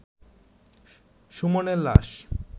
সুমনের লাশ